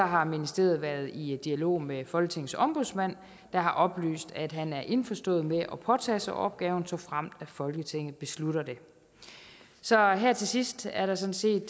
har ministeriet været i dialog med folketingets ombudsmand der har oplyst at han er indforstået med at påtage sig opgaven såfremt folketinget beslutter det så her til sidst er der sådan set